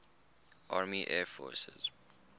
army air forces